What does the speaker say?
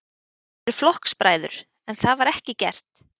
Þið eruð flokksbræður, en það var ekki gert?